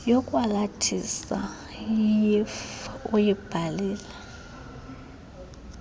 yokwalathisa yeuif uyibhalile